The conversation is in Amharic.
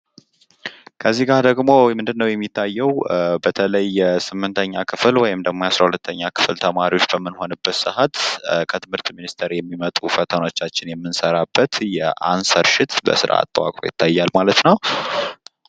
ከዚህ ጋ ደግሞ ምንድነው የሚታየው በተለይ ደግሞ የስምንተኛ ክፍል ወይም ደግሞ የአስራ ሁለተኛ ክፍል ተማሪዎች በምንሆንበት ሰአት ከትምህርት ሚኒስትር የሚመጡ ፈተናዎችን የምንሰራበት የአንሰር ሽት በስርዓት ተዋቅሮ ይታያል ማለት ነው።